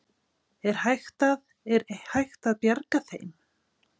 Er hægt að, er hægt að bjarga þeim?